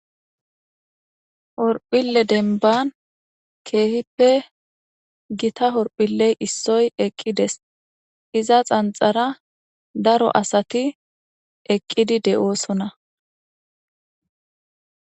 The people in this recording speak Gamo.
horphille denban keehippe gita horphilley issoy eqqides iza xanxara daro asati eqqidi de7oosona